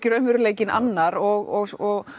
raunveruleikinn annar og og